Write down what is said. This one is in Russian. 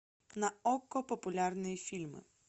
на окко популярные фильмы